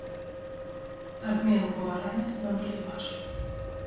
обмен гуараня на боливар